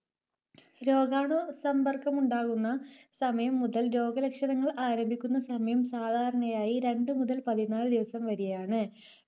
രോഗാണു സമ്പർക്കമുണ്ടാകുന്ന സമയം മുതൽ രോഗലക്ഷണങ്ങൾ ആരംഭിക്കുന്ന സമയം സാധാരണയായി രണ്ടു മുതൽ പതിനാല് ദിവസം വരെയാണ്.